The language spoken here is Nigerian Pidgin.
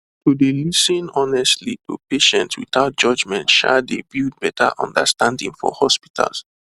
to dey lis ten honestly to patients without judgement um dey build better understanding for hospitals